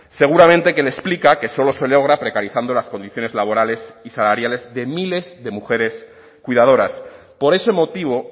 seguramente que me explica que solo se logra precarizando las condiciones laborales y salariales de miles de mujeres cuidadoras por ese motivo